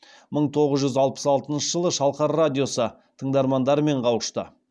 мың тоғыз жүз алпыс алтыншы жылы шалқар радиосы тыңдармандарымен қауышты